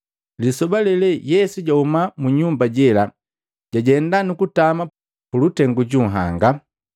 Lisoba lele Yesu jahuma mu nyumba jela, jajenda nukutama mulutengu ju nhanga.